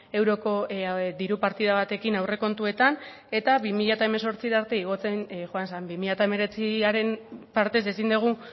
euroko diru partida batekin aurrekontuetan eta bi mila hemezortzira arte igotzen joan zen bi mila hemeretziaren partez ezin dugu